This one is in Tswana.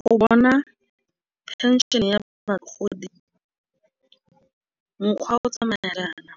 Go bona phenšene ya bagodi mokgwa o tsamaelana